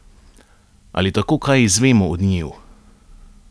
Ali tako kaj izvemo o njiju?